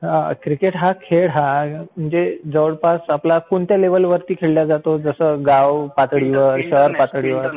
Cricket हा खेळ हा जवळपास कोणत्या लेव्हलवर खेळला जातो? जसं गाव पातळीवर, शहर पातळीवर